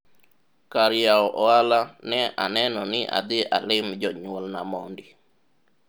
kar yawo ohala ne aneno ni adhi alim jonyuolna mondi